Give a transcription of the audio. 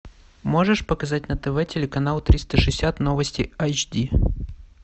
можешь показать на тв телеканал триста шестьдесят новости айч ди